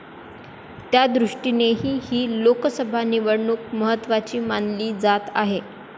त्यादृष्टीनेही ही लोकसभा निवडणूक महत्त्वाची मानली जात आहे.